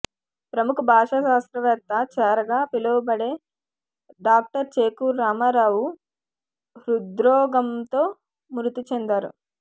ప్రముఖ భాషా శాస్త్రవేత్త చేరాగా పిలువబడే డాక్టర్ చేకూరి రామారావు హృద్రోగంతో మృతి చెందారు